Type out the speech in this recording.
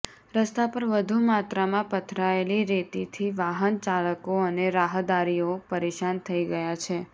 રસ્તા પર વધુ માત્રામાં પથરાયેલી રેતીથી વાહન ચાલકો અને રાહદારીઓ પરેશાન થઈ ગયા છે